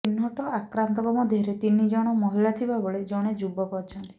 ଚିହ୍ନଟ ଆକ୍ରାନ୍ତଙ୍କ ମଧ୍ୟରେ ତିନି ଜଣ ମହିଳା ଥିବାବେଳେ ଜଣେ ଯୁବକ ଅଛନ୍ତି